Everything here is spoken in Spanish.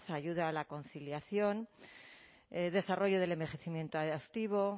ayuda a la conciliación desarrollo del envejecimiento activo